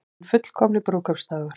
Hinn fullkomni brúðkaupsdagur